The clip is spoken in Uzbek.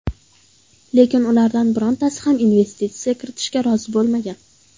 Lekin ulardan birontasi ham investitsiya kiritishga rozi bo‘lmagan.